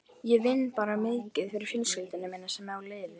Ég vinn mikið fyrir fjölskylduna sem á liðið.